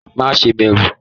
Má ṣe bẹrù!